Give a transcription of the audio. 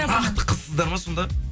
бақытты қызсыздар ма сонда